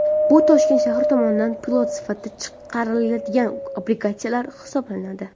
Bu Toshkent shahri tomonidan pilot sifatida chiqariladigan obligatsiyalar hisoblanadi.